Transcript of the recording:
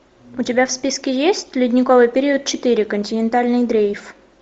у тебя в списке есть ледниковый период четыре континентальный дрейф